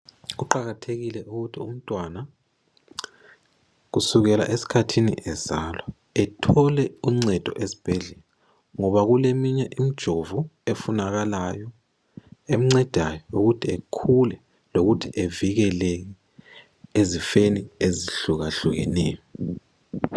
Kuqakathekile ukuthi umntwana kusukela esikhathini ezalwa ethole uncedo esibhedlela ngoba kuleminye imjovo efunakalayo emncedayo ukuthi ekhule lokuthi evikeleke ezifeni ezihlukahlukeneyo.